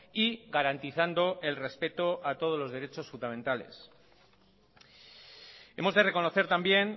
y garantizando el respeto a todos los derechos fundamentales hemos de reconocer también